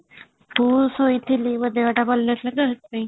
ମୁଁ ଶୋଇଥିଲି ମୋ ଦେହ ଟା ଭଲ ନଥିଲା ତ ସେଥି ପାଇଁ